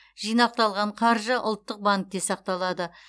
жинақталған қаржы ұлттық банкте сақталады